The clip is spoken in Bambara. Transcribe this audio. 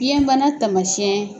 Biyɛnbana tamasiɲɛ